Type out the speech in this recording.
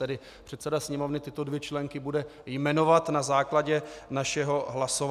Tedy předseda Sněmovny tyto dvě členky bude jmenovat na základě našeho hlasování.